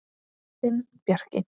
Þinn Bjarki.